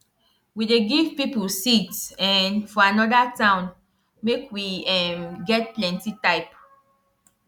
we dey give people seeds um for another town make we um get plenty type